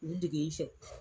Nunnu de b'i fɛ.